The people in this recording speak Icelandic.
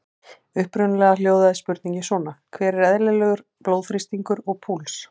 Upprunalega hljóðaði spurningin svona: Hver er eðlilegur blóðþrýstingur og púls?